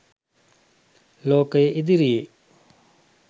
ලෝකය ඉදිරියේ